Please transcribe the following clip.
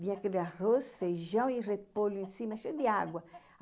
Vinha aquele arroz, feijão e repolho em cima, cheio de água.